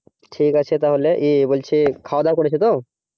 ঠিক আছে তাহলে খাওয়া দাওয়া করেছো তো